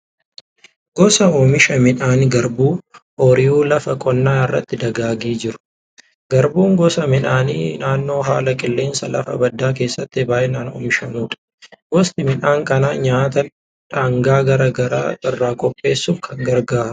Gosa oomisha midhaan garbuu ooyiruu lafa qonnaa irratti dagaagee jiru. Garbuun gosa midhaanii naannoo haala qilleensa lafa baddaa keessatti baay'inaan oomishamudha. Gosti midhaan kanaa nyaata dhangaa garaa garaa irraa qopheessuuf kan gargaarudha.